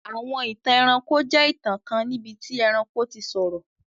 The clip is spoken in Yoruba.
Àwọn ìtàn ẹranko jẹ ìtàn kan níbití ẹranko ti sọ̀rọ̀.